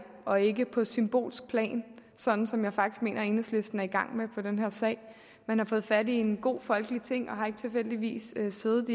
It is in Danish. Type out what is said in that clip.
og ikke på et symbolsk plan sådan som jeg faktisk mener enhedslisten er i gang med i den her sag man har fået fat i en god folkelig ting og har tilfældigvis ikke siddet